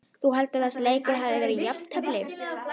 Þú heldur að þessi leikur hafi verið jafn?